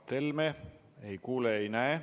Mart Helme ei kuule, ei näe.